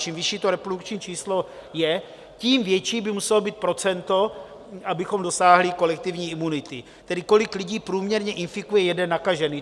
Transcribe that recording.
Čím vyšší to reprodukční číslo je, tím větší by muselo být procento, abychom dosáhli kolektivní imunity, tedy kolik lidí průměrně infikuje jeden nakažený.